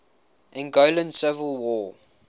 angolan civil war